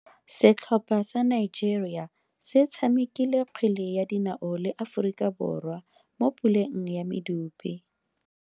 Setlhopha sa Nigeria se tshamekile kgwele ya dinao le Aforika Borwa mo puleng ya medupe.